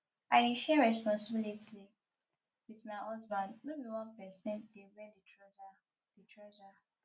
i dey share responsibilities wit my husband no be one pesin dey wear di trouser di trouser